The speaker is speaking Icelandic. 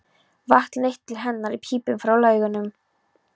Vatn leitt til hennar í pípum frá laugunum.